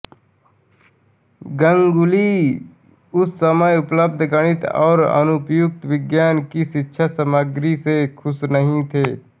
गांगुली उस समय उपलब्ध गणित और अनुप्रयुक्त विज्ञान की शिक्षा सामग्री से खुश नहीं थे